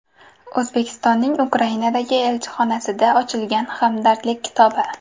O‘zbekistonning Ukrainadagi elchixonasida ochilgan hamdardlik kitobi.